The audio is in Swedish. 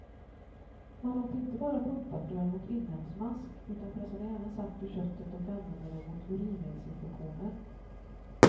Man åt inte bara pumpafrön mot inälvsmask, utan pressade även saft ur köttet och använde det mot urinvägsinfektioner.